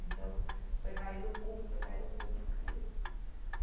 Então, foi cair no público, foi cair no público, caiu.